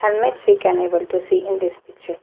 And mates we can able to see in this picture.